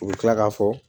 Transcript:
U bɛ tila k'a fɔ